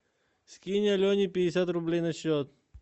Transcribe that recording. скинь алене пятьдесят рублей на счет